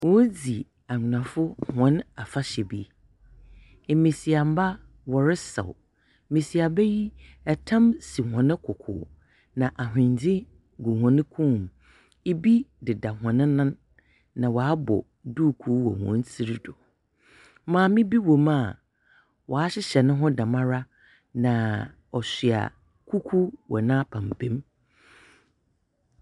Woridzi anwonafo hɔn afahyɛ bi, mbasiafo wɔresaw, mbasiamba yi, tam si hɔn koko na ahondze gu hɔn kɔnmu, bi deda hɔn nan, na wɔabɔ duukuu wɔ hɔn tsir do. Maame bi wɔ mu a ɔahyehyɛ noho dɛmara, na ɔsoa kuku wɔ n’apampam.